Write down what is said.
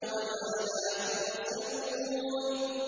وَمَا لَا تُبْصِرُونَ